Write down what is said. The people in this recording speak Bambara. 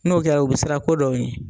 N'o kɛra u bi siran ko dɔw ɲɛ.